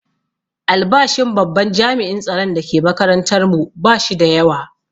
Albashin babban jami'in tsaron da ke makatantar mu ba shi da yawa